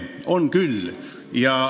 On küll.